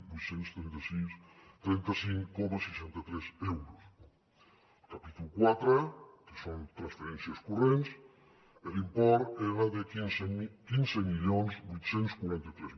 vuit cents i trenta cinc coma seixanta tres euros al capítol quatre que són transferències corrents l’import era de quinze mil vuit cents i quaranta tres